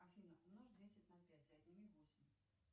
афина умножь десять на пять и отними восемь